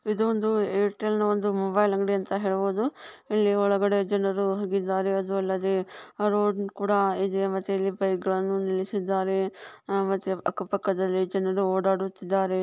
ಇದು ಒಂದು ಏರ್ಟೆಲ್ ನ ಒಂದು ಮೊಬೈಲ್ ಅಂಗಡಿ ಅಂತ ಹೇಳ್ಬಹುದು ಇಲ್ಲಿ ಒಳಗಡೆ ಜನರು ಹೋಗಿದ್ದಾರೆ ಅದು ಅಲ್ಲದೆ ರೋಡ್ ಕೂಡ ಇದೆ ಮತ್ತೆ ಇಲ್ಲಿ ಬೈಕ್ ಗಳನ್ನು ನಿಲ್ಲಿಸಿದ್ದಾರೆ ಮತ್ತೆ ಅಕ್ಕ ಪಕ್ಕದಲ್ಲಿ ಜನರು ಓಡಾಡುತ್ತಿದ್ದಾರೆ.